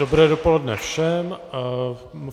Dobré dopoledne všem.